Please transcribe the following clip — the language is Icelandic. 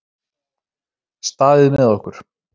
Staðið með okkur